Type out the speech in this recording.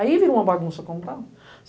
Aí virou uma bagunça como tal.